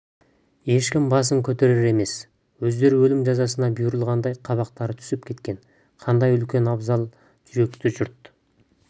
ешкім басын көтерер емес өздері өлім жазасына бұйырылғандай қабақтары түсіп кеткен қандай үлкен абзал жүректі жұрт